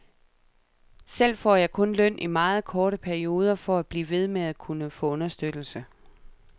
Selv får jeg kun løn i meget korte perioder, for at blive ved med at kunne få understøttelse.